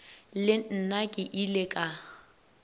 le nna ke ile ka